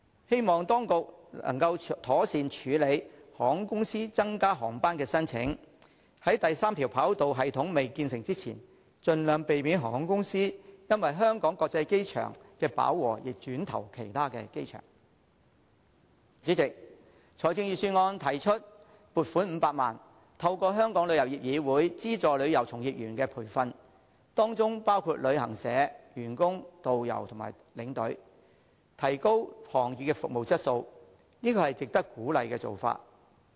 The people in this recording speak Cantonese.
希望當局能夠妥善處理航空公司增加航班的申請，在三跑系統未建成前，盡量避免航空公司因為香港機場飽和而轉投其他機場。主席，預算案提出撥款500萬元，透過香港旅遊業議會資助旅遊從業員的培訓，其中包括旅行社員工、導遊及領隊，提高行業服務質素，這是值得鼓勵的做法。